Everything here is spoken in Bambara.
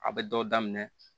A bɛ dɔw daminɛ